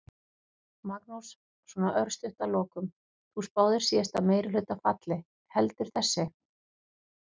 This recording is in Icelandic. Magnús: Svona örstutt að lokum, þú spáðir síðasta meirihluta falli, heldur þessi?